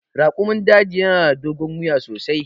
Raƙumin daji yana da dogon wuya sosai.